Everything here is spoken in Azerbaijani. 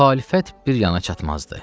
Müxalifət bir yana çatmazdı.